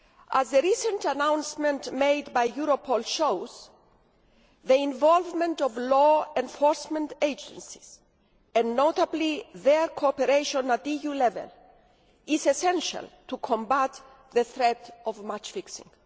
As the recent announcement made by Europol shows, the involvement of law enforcement agencies, and notably their cooperation at EU level, is essential to combat the threat of match fixing.